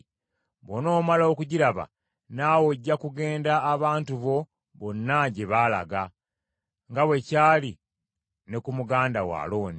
Bw’onoomala okugiraba, naawe ojja kugenda abantu bo bonna gye baalaga, nga bwe kyali ne ku muganda wo Alooni,